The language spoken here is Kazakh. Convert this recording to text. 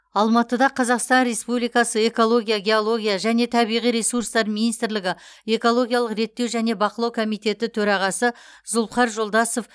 алматыда қазақстан республикасы экология геология және табиғи ресурстар министрлігі экологиялық реттеу және бақылау комитеті төрағасы зулыпхар жолдасов